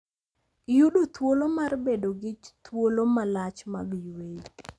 Iyudo thuolo mar bedo gi thuolo malach mag yweyo